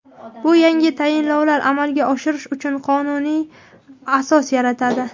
Bu yangi tayinlovlar amalga oshirish uchun qonuniy asos yaratadi.